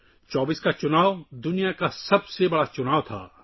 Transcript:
24 کا الیکشن دنیا کا سب سے بڑا الیکشن تھا